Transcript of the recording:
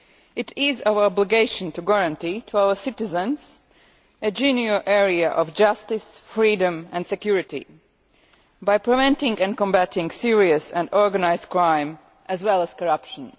It is our obligation to guarantee our citizens a general area of justice, freedom and security by preventing and combating serious and organised crime as well as corruption.